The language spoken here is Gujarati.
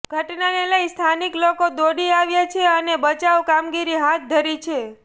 ઘટનાને લઇને સ્થાનિક લોકો દોડી આવ્યા છે અને બચાવ કામગીરી હાથ ધરી છે